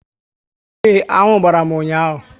Ee, aṅụ gbàrà m ụnyaahụ